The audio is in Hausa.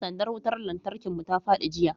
sandar wutar lantarkin mu ta fadi jiya